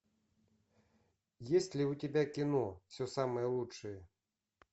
есть ли у тебя кино все самое лучшее